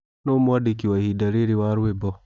Nũũ mwandĩkĩ wa ĩhĩnda rĩrĩ wa rwĩmbo